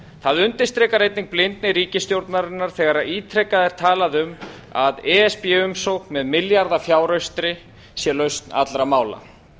það undirstrikar einnig blindni ríkisstjórnarinnar þegar ítrekað er talað um að e s b umsókn með milljarðafjáraustri sé lausn allra mála